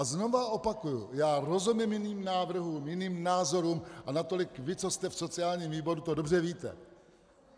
A znovu opakuji, já rozumím jiným návrhům, jiným názorům, a natolik vy, co jste v sociálním výboru, to dobře víte.